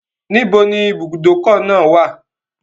Níbo ni ìbùdókọ̀ náà wà?